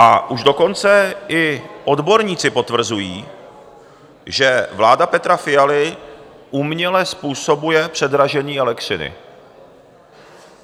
A už dokonce i odborníci potvrzují, že vláda Petra Fialy uměle způsobuje předražení elektřiny.